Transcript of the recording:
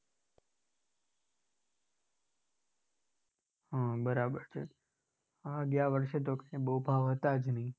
હમ બરાબર છે. હા ગયા વર્ષે તો કઈ બહુ ભાવ હતા જ નહિ.